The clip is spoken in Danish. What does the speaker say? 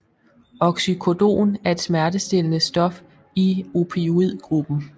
Oxycodon er et smertestillende stof i opioid gruppen